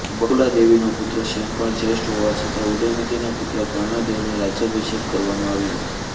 બકુલાદેવીનો પુત્ર ક્ષેમપાળ જ્યેષ્ઠ હોવા છતાં ઉદયમતીના પુત્ર કર્ણદેવનો રાજ્યાભિષેક કરવામાં આવ્યો હતો